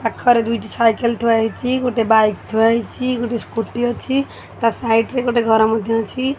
ପାଖରେ ଦୁଇଟି ସାଇକେଲ ଥୁଆ ହୋଇଛି ଗୋଟେ ବାଇକ ଥୁଆ ହୋଇଛି ଗୋଟେ ସ୍କୁଟି ଅଛି ତା ସାଇଡରେ ଗୋଟେ ଘର ଅଛି।